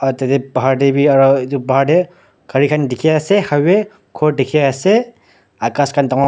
tatae bahar tae bi aro bahar tae gari khan dikhiase highway khor dikhiase aro ghas khan dan--